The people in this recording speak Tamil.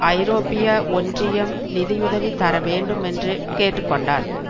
ஐரோப்பிய ஒன்றியம் நிதியுதவி தர வேண்டும் என்று கேட்டு கொண்டார்